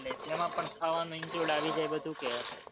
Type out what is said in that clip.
એટલે જેમાં પણ ખાવાનું include આવી જાય બધું કે?